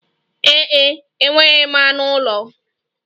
Ee e, enweghị m anụ ụlọ.